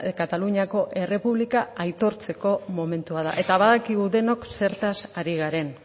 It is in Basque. kataluniako errepublika aitortzeko momentua da eta badakigu denok zertaz ari garen